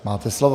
Máte slovo.